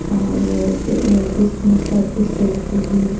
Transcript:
और प्री अ प्रिसठी निष्ठा स्टेट की भी--